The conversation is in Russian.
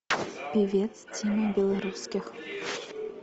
певец тима белорусских